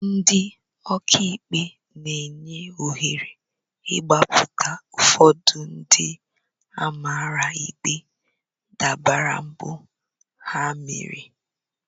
Ndị ọka ikpe na-enye ohere mgbapụta ụfọdụ ndị a mara ikpe dabere mpụ ha mere